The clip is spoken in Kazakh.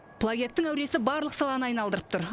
плагиаттың әуресі барлық саланы айналдырып тұр